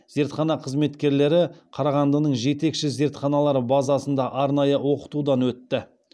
зертхана қызметкерлері қарағандының жетекші зертханалары базасында арнайы оқытудан өтті